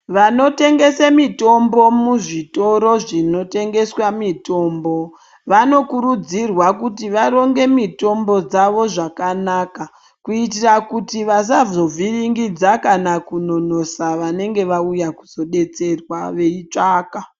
Vanotengese mitombo muzvitoro zvinotengeswa mitombo vanokurudzirwa kuti varonge mitombo dzavo zvakanaka kuitira kuti vasazovhiringidza kana kunonosa vanenge vauya kuzodetserwa veitsvaka.